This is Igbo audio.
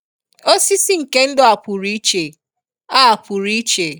Osisi nke ndụ a pụrụ iche. a pụrụ iche.